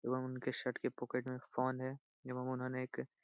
रोहन के शर्ट के पॉकेट में एक फोन है एवं उन्होंने एक --